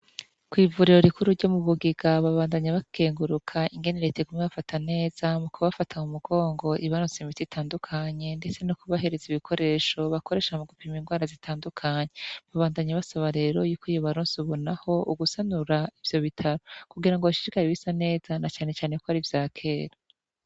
Kwivuriro rikuru ryo mubugiga babandanya bakenguruka ingene reta iguma ibafata neza mukubafata mumugongo ibaronsa imiti itandukanye ndetse nokubahereza ibikoresho bakoresha mugupima inrwara zitandukanye babandanya basaba rero ko yobaronsa ubunaho ugusanura ivyo bitaro kugira ngo hashishikare gusa neza nacane cane kwari ivyakera